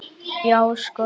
Já, sko!